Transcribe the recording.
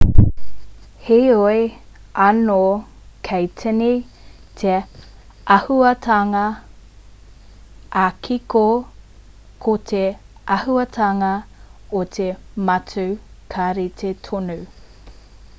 heoi anō kei tīni te āhuatanga ā-kiko ko te āhuatanga o te matū ka rite tonu